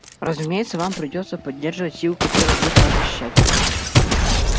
разумеется вам придётся поддерживать силы которые будут вас защищать